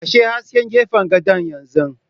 Kashe hasken gefen gadon yanzu!